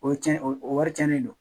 O ye cɛn o wari cɛnnen don